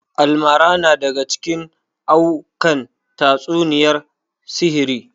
Almarana na daga cikin aa'ukan tatsuniyar sihiri